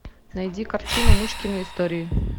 найди картину мышкины истории